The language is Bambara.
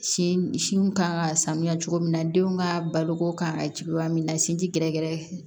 Sin sinw kan ka sanuya cogo min na denw ka baloko kan ka jugu ya min na sin ti gɛrɛgɛrɛ ye